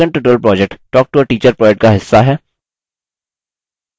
spoken tutorial project talktoateacher project का हिस्सा है